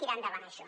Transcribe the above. tirar endavant això